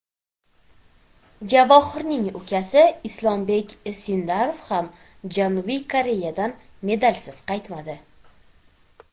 Javohirning ukasi Islombek Sindorov ham Janubiy Koreyadan medalsiz qaytmadi.